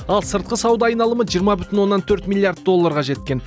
ал сыртқы сауда айналымы жиырма бүтін оннан төрт миллиард долларға жеткен